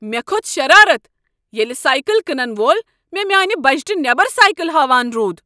مےٚ کھوٚت شرارتھ ییٚلہ سایکل کٕنن وول مےٚ میٛانہ بجٹہٕ نیبر سایکل ہاوان روٗد ۔